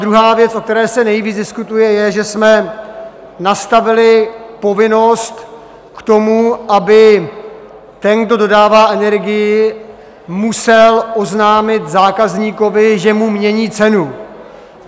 Druhá věc, o které se nejvíc diskutuje, je, že jsme nastavili povinnost k tomu, aby ten, kdo dodává energii, musel oznámit zákazníkovi, že mu mění cenu.